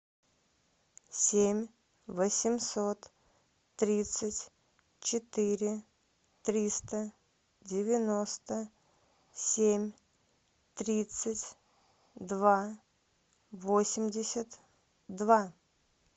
семь восемьсот тридцать четыре триста девяносто семь тридцать два восемьдесят два